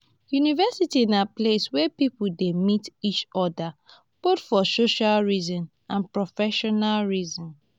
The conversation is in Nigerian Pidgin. university na place where pipo de meet each oda both for social reason and professional reason